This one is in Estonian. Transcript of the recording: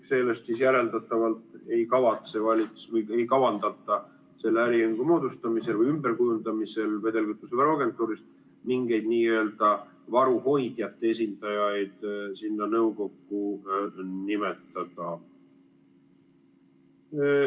Sellest järeldatavalt ei kavandata selle äriühingu moodustamisel või ümberkujundamisel vedelkütusevaru agentuurist mingeid n‑ö varu hoidjate esindajaid sinna nõukokku nimetada.